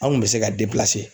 An' kun bɛ se ka